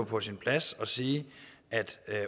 på sin plads at sige at i